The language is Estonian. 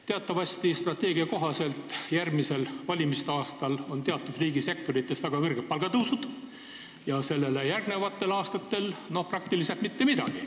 Teatavasti on strateegia kohaselt järgmisel, valimiste aastal teatud riigisektori osades väga suured palgatõusud, aga sellele järgnevatel aastatel ei ole praktiliselt mingit tõusu.